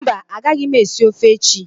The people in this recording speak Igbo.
Mba, a gaghị m esi ofe echi